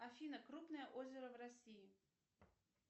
афина крупное озеро в россии